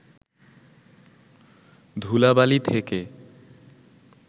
ধূলাবালি থেকে